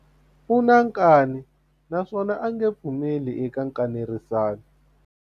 U na nkani naswona a nge pfumeli eka nkanerisano.